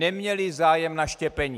Neměli zájem na štěpení.